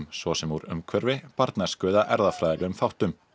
svo sem úr umhverfi barnæsku eða erfðafræðilegum þáttum